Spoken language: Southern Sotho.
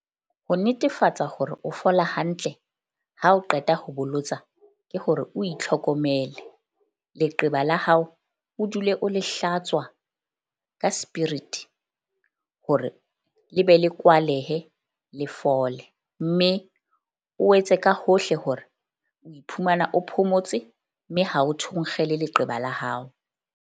Ho netefatsa hore o fola hantle ha o qeta ho bolotsa. Ke hore o itlhokomele leqeba la hao o dule o le hlatswa ka spirit hore le be le kwalehe le fole. Mme o etse ka hohle hore o iphumana o phomotse mme ha o thonkgele leqeba la hao.